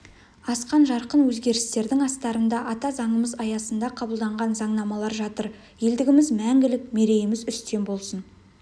асқан жарқын өзгерістердің астарында ата заңымыз аясында қабылданған заңнамалар жатыр елдігіміз мңгілік мерейіміз үстем болсын